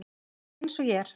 Eins og ég er.